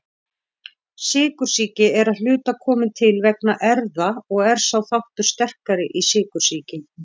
Sykursýki er að hluta komin til vegna erfða og er sá þáttur sterkari í sykursýki.